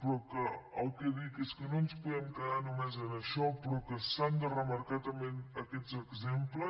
però el que dic és que no ens podem quedar només en això però que s’han de remarcar també aquests exemples